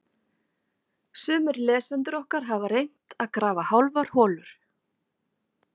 Sumir lesendur okkar hafa reynt að grafa hálfar holur.